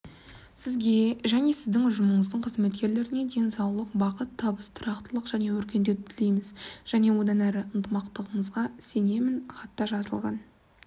сізге және сіздің ұжымыңыздың қызметкерлеріне денсаулық бақыт табыс тұрақтылық және өркендеуді тілейміз және одан әрі ынтымақтығымызға сенемін хатта жазылған